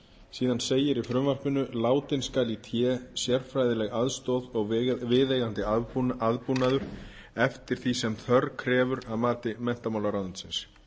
síðan segir í frumvarpinu látin skal í té sérfræðileg aðstoð og viðeigandi aðbúnaður eftir því sem þörf krefur að mati menntamálaráðuneytisins